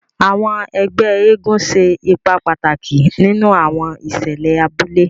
Àwọn ègbé eégún ṣe ipá pàtàkì nínú àwọn ìṣẹlẹ abúlé.